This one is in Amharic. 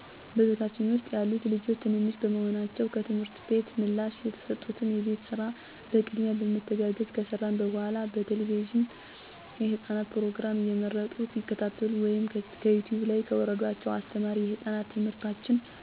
በቤታችን ውስጥ ያሉት ልጆች ትንንሽ በመሆናቸው ከትምህርት ቤት ምላሽ የተሰጡትን የቤት ስራ በቅድሚያ በመተጋገዝ ከሰራን በኃላ በቴለቪዥን የህፃናት ፕሮግራሞችን እየመረጡ ይከታተሉ ወይም ከዩቲውብ ላይ ከወረደላቸው አስተማሪ የህፃናት ትምህርቶችን በፍላሽ ቴሌቪዥን ላይ በመሰካት እንዲከታተሉ እናደርጋለን ወይም በስልክ የተጫኑ የህፃናት ጌሞችን እንዲጫወቱ እንፈቅዳለን። ከዛ በተረፈ በአካባቢያችን ከሚገኝ የህፃናት መዋያ ፓርክ እንዲጫወቱ እንወስዳቸዋለን። አልፎ አልፎ በሳምንቱ መጨረሻ የልጆች በክፍያ መጫወቻ ቦታ ወይም ነፋሻማ ወደሆነ ወደ ሀይቅ ዳርቻ በመሄድ እንዲዝናኑ እናደርጋለን።